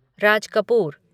Raj Kapoor